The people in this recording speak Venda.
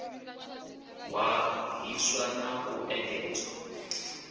hwa hiswa na u engedzwa